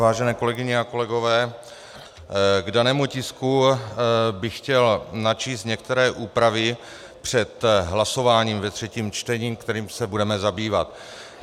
Vážené kolegyně a kolegové, k danému tisku bych chtěl načíst některé úpravy před hlasováním ve třetím čtení, kterým se budeme zabývat.